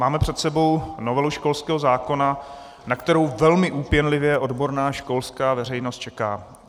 Máme před sebou novelu školského zákona, na kterou velmi úpěnlivě odborná školská veřejnost čeká.